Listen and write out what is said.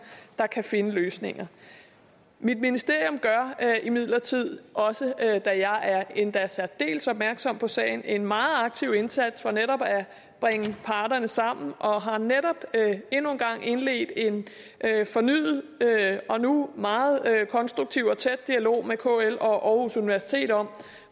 der kan finde løsninger mit ministerium gør imidlertid også da jeg er endda særdeles opmærksom på sagen en meget aktiv indsats for netop at bringe parterne sammen og har netop endnu en gang indledt en fornyet og nu meget konstruktiv og tæt dialog med kl og universitet om